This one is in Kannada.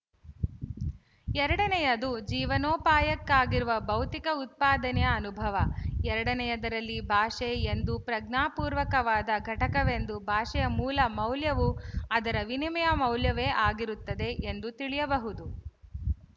ಎರಡನೆಯದು ಜೀವನೋಪಾಯಕ್ಕಾಗಿರುವ ಭೌತಿಕ ಉತ್ಪಾದನೆಯ ಅನುಭವ ಎರಡನೆಯದರಲ್ಲಿ ಭಾಷೆ ಒಂದು ಪ್ರಜ್ಞಾಪೂರ್ವಕವಾದ ಘಟಕವೆಂದು ಭಾಷೆಯ ಮೂಲ ಮೌಲ್ಯವು ಅದರ ವಿನಿಮಯ ಮೌಲ್ಯವೇ ಆಗಿರುತ್ತದೆ ಎಂದು ತಿಳಿಯಬಹುದು